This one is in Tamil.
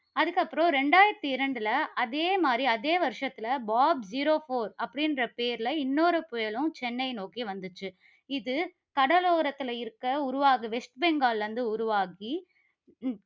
அதுக்கப்புறம் இரண்டாயிரத்து இரண்டுல, அதே மாதிரி, அதே வருஷத்தில பாப் zero four அப்படிங்கிற பெயர்ல இன்னொரு புயலும் சென்னையை நோக்கி வந்துச்சு. இது கடலோரத்தில இருக்க உருவா~ வெஸ்ட் பெங்கால்ல இருந்து உருவாகி